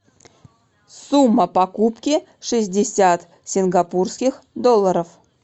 сумма покупки шестьдесят сингапурских долларов